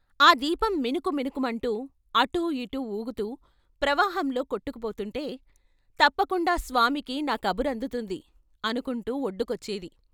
ఆ దీపం మిణుకు మిణుకుమంటూ అటూ ఇటూ వూగుతూ ప్రవా హంలో కొట్టుకుపోతుంటే, ' తప్పకుండా స్వామికి నా కబురు అందుతుంది ' అనుకుంటూ వొడ్డుకొచ్చేది.